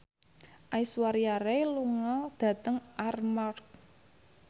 Aishwarya Rai lunga dhateng Armargh